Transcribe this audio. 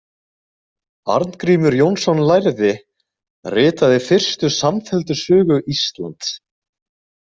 Arngrímur Jónsson lærði ritaði fyrstu samfelldu sögu Íslands.